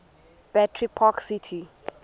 battery park city